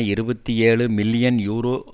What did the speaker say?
இருபத்தி ஏழு million euro